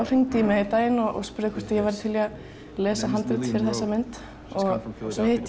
hringdi í mig einn daginn og spurði hvort ég væri til í að lesa handrit fyrir þessa mynd ég hitti